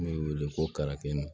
N bɛ wele ko kalafili